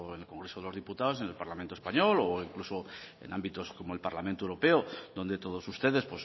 en el congreso de los diputados en el parlamento español o incluso en ámbitos como el parlamento europeo donde todos ustedes